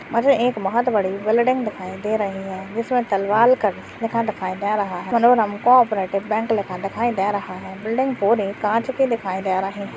मुझे एक बहुत बड़ी बिल्डिंग दिखाई दे रही है जिसमे तलवालकर लिखा दिखाई दे रहा है को-ऑपरेटीव बैंक लिखा दिखाई दे रहा है बिल्डिंग पूरी काँच की दिखाई दे रही--